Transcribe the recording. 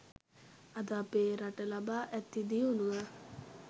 අද අපේ රට ලබා ඇති දියුණුව